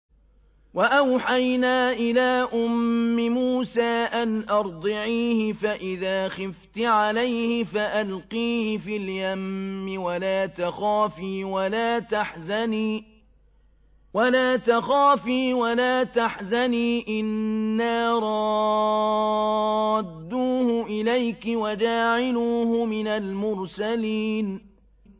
وَأَوْحَيْنَا إِلَىٰ أُمِّ مُوسَىٰ أَنْ أَرْضِعِيهِ ۖ فَإِذَا خِفْتِ عَلَيْهِ فَأَلْقِيهِ فِي الْيَمِّ وَلَا تَخَافِي وَلَا تَحْزَنِي ۖ إِنَّا رَادُّوهُ إِلَيْكِ وَجَاعِلُوهُ مِنَ الْمُرْسَلِينَ